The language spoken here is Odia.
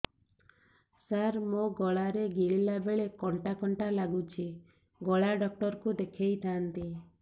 ସାର ମୋ ଗଳା ରେ ଗିଳିଲା ବେଲେ କଣ୍ଟା କଣ୍ଟା ଲାଗୁଛି ଗଳା ଡକ୍ଟର କୁ ଦେଖାଇ ଥାନ୍ତି